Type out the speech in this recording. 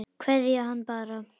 Kveðja hann bara.